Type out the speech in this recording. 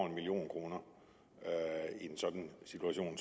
en million kroner i en sådan situation